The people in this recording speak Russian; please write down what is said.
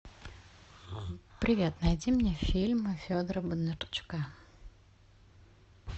привет найди мне фильмы федора бондарчука